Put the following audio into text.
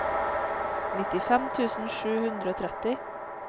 nittifem tusen sju hundre og tretti